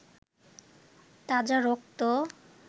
তাজা রক্ত